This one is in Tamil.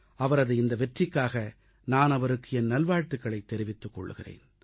அவரது இந்த வெற்றிக்காக நான் அவருக்கு என் நல்வாழ்த்துகளைத் தெரிவித்துக் கொள்கிறேன்